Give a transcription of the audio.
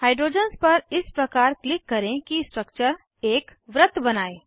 hydrogens पर इस प्रकार क्लिक करें कि स्ट्रक्चर एक वृत्त बनाये